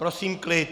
Prosím klid.